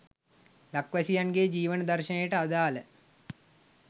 ලක්වැසියන් ගේ ජීවන දර්ශනයට අදාළ